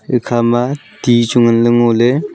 ikha ma ti chu ngan ley ngo ley.